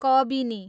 Kabini